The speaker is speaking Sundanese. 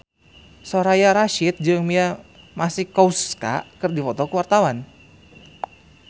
Soraya Rasyid jeung Mia Masikowska keur dipoto ku wartawan